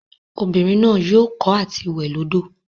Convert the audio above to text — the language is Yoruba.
Obinrin naa yoo ko ati we lodo.